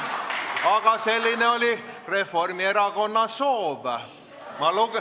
Aga selline oli Reformierakonna soov.